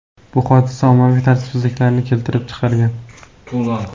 Bu hodisa ommaviy tartibsizliklarni keltirib chiqargan .